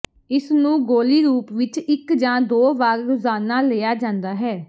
ਇਸਨੂੰ ਗੋਲ਼ੀ ਰੂਪ ਵਿੱਚ ਇੱਕ ਜਾਂ ਦੋ ਵਾਰ ਰੋਜ਼ਾਨਾ ਲਿਆ ਜਾਂਦਾ ਹੈ